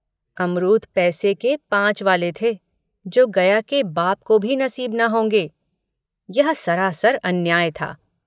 अमरूद पैसे के पाँच वाले थे जो गया के बाप को भी नसीब न होंगे। यह सरासर अन्याय था